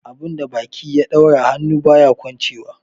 Abun da baki ya daura, hannu baya kwanchewa.